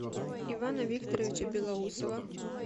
ивана викторовича белоусова